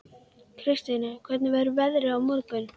Kristine, hvernig verður veðrið á morgun?